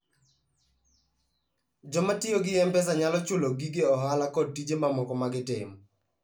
Joma tiyo gi M-Pesa nyalo chulo gige ohala kod tije mamoko ma gitimo.